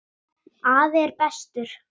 Afi er bestur.